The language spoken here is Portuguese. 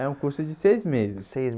É um curso de seis meses. Seis